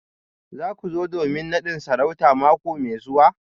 Za ku zo domin nadin sarauta mako mai zuwa?